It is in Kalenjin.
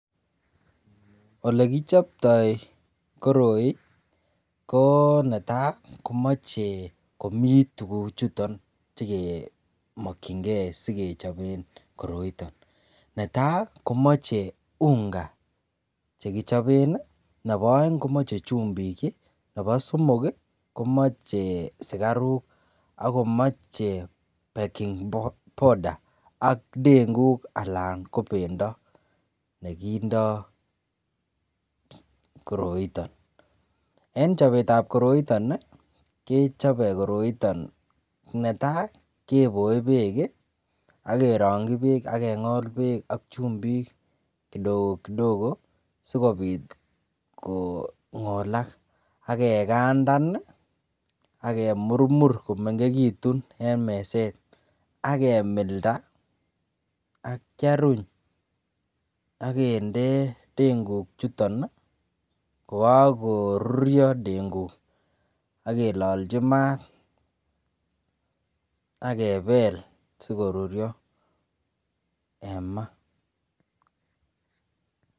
Olekichoptoi koroi ko netai komache Komi tuguk chuton chegemakin gei si kechopen koroiton netai komache unga chekichapen Nebo aeng komache chumbik Nebo somok komache sikaruk akomache Cs baking powder Cs AK denguk anan ko bendon netindoi koroiton en chapet ab koroiton kechapen koroiton netai keboe bek akerongi bek akengol AK chumbik Cs kidogo kidogo cs sikobit kongolak akegandan akemirmur komengekitun en mesetagemilda akiaruny agende denkuk chuton kokakorurio denkuk akelanji mat agebel sikorurio en mat